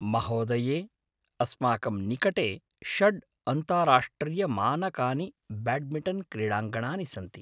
महोदये! अस्माकं निकटे षड् अन्ताराष्ट्रियमानकानि ब्याड्मिटन् क्रीडाङ्गणानि सन्ति।